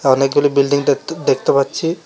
অনেকগুলি বিল্ডিং দেখ দেখতে পাচ্ছি।